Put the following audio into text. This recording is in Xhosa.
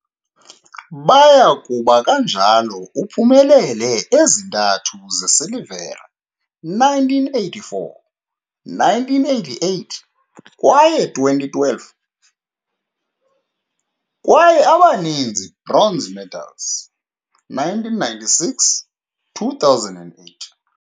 Baya kuba kanjalo uphumelele ezintathu zesilivere, 1984, 1988 kwaye 2012, kwaye abaninzi bronze medals, 1996, 2008.